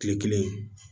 Kile kelen